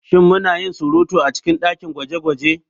Shin muna yin surutu a cikin dakin gwaje-gwaje?